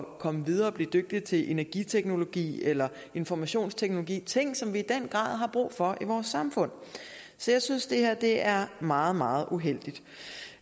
komme videre og blive dygtig til energiteknologi eller informationsteknologi ting som vi i den grad har brug for i vores samfund så jeg synes at det her er meget meget uheldigt